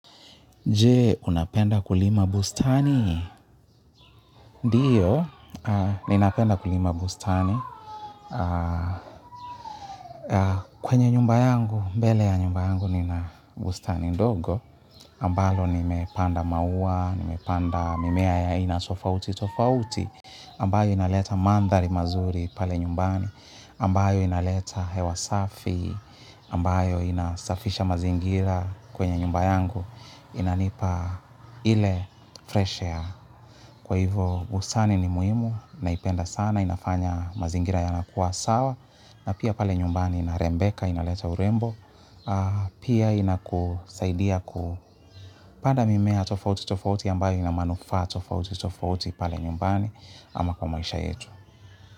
Je, unapenda kulima bustani? Ndio, ninapenda kulima bustani. Kwenye nyumba yangu, mbele ya nyumba yangu, nina bustani ndogo. Ambalo, nimepanda maua, nimepanda mimea ya aina tofauti tofauti. Ambayo inaleta mandhari mazuri pale nyumbani. Ambayo inaleta hewa safi. Ambayo inasafisha mazingira kwenye nyumba yangu. Inanipa ile fresh air. Kwa hivyo, busani ni muhimu, naipenda sana, inafanya mazingira yanakuwa sawa, na pia pale nyumbani inarembeka, inaleta urembo, pia inakusaidia kupanda mimea tofauti tofauti ambayo ina manufaa tofauti tofauti pale nyumbani ama kwa maisha yetu.